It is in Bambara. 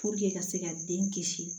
ka se ka den kisi